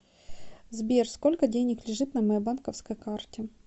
сбер сколько денег лежит на моей банковской карте